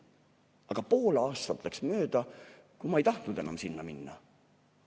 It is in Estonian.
Aga pool aastat läks mööda, kui ma ei tahtnud enam sinna minna.